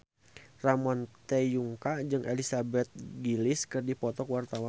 Ramon T. Yungka jeung Elizabeth Gillies keur dipoto ku wartawan